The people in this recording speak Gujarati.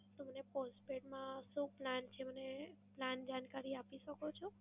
તો મને postpaid માં શું plan છે મને plan જાણકારી આપી શકો છો?